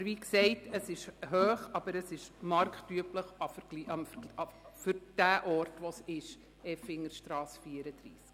Aber wie gesagt: Der Mietzins ist hoch, aber marktüblich für diesen Ort.